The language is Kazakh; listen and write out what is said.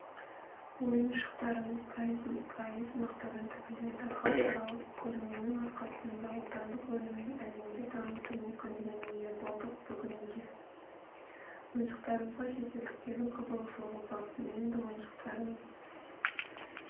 ойыншықтарымыз пайыз мақтадан тігіледі халықаралық көрменің арқасында отандық өнімді әлемге таныту мүмкіндігіне ие болдық бүгінде ойыншықтарымызға шетелдіктердің қызығушылығы басым енді ойыншықтарымыз